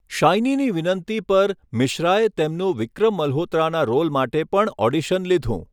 શાઈનીની વિનંતી પર, મિશ્રાએ તેમનું વિક્રમ મલ્હોત્રાના રોલ માટે પણ ઓડિશન લીધું.